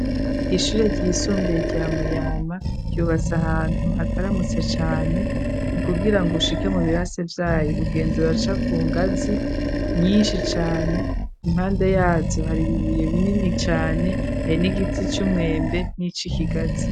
Ishure ryisumbuye rya muyama ryubatse ahantu hataramutse cane nukugira ngo ushike mu birase vyayo ugenzura aca ku ngazi nyinshi cane impande yazo hari bibuye binini cane hari n'igiti c'umwembe n'ico ikigazi.